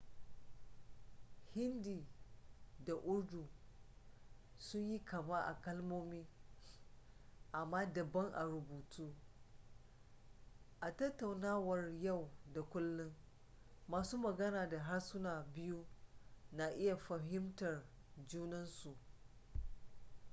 hindi da urdu sun yi kama a kalmomi amma daban a rubutu a tattaunawar yau da kullun masu magana da harsunan biyu na iya fahimtar junan su